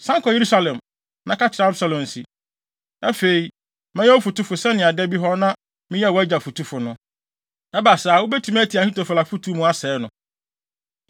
San kɔ Yerusalem, na ka kyerɛ Absalom se, ‘Afei, mɛyɛ wo fotufo sɛnea da bi hɔ no na meyɛ wʼagya fotufo no.’ Ɛba saa a, wubetumi atia Ahitofel afotu mu, asɛe no.